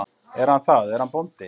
Er hann það, er hann bóndi?